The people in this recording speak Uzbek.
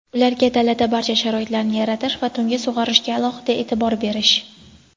ularga dalada barcha sharoitlarni yaratish va tungi sug‘orishga alohida e’tibor berish;.